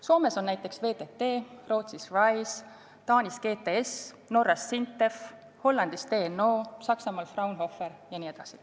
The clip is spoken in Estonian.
Soomes on näiteks VTT, Rootsis RISE, Taanis GTS, Norras SINTEF, Hollandis TNO, Saksamaal Fraunhofer jne.